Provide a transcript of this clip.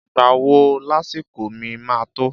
Ìgbá wò làsíkò mi mà tò?